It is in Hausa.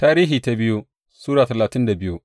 biyu Tarihi Sura talatin da biyu